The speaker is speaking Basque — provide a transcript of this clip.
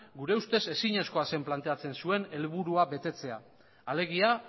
gure ustez ezinezkoa zen planteatzen zuen helburua betetzea alegia